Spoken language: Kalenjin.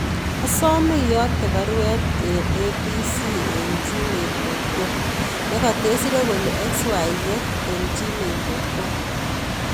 Asome iyokte baruet en a. b. c. en gmail dot com negotesire kole xyz en gmail dot com